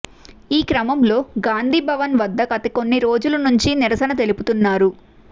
ఈ క్రమంలో గాంధీభవన్ వద్ద గత కొన్ని రోజుల నుంచి నిరసన తెలుపుతున్నారు